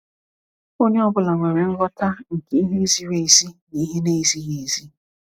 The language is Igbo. Onye ọ bụla nwere nghọta nke ihe ziri ezi na ihe na-ezighi ezi.